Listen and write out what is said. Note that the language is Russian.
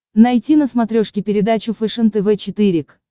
найти на смотрешке передачу фэшен тв четыре к